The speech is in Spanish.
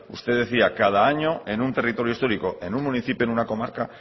usted decía cada año en un territorio histórico en un municipio en una comarca